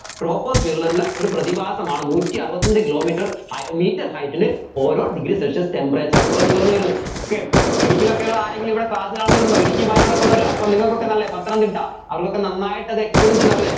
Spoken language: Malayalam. troposphere ൽ ഉള്ള ഒരു പ്രതിഭാസമാണ് നൂറ്റി അറുപത്തി അഞ്ച്‌ kilometre hei metre height ല് ഓരോ degree celsius temperature കുറഞ്ഞ് കുറഞ്ഞ് വരുന്നു okay ഇടുക്കിയിലൊക്കെ ഉള്ള ആരെങ്കിലും ഇവിടെ class കാണുന്ന വരുണ്ടോ ഇടുക്കി വായനാടൊക്കെ ഉള്ളവർ അപ്പം നിങ്ങൾക്ക് ഒക്കെ നല്ലെ പത്തനംതിട്ട അവർക്കൊക്കെ നന്നായിട്ടത് experience ഉണ്ടാവും അല്ലെ